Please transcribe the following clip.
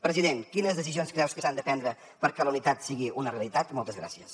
president quines decisions creu que s’han de prendre perquè la unitat sigui una realitat moltes gràcies